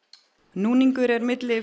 núningur er milli